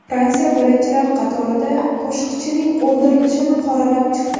Fransiya birinchilar qatorida Qoshiqchining o‘ldirilishini qoralab chiqdi.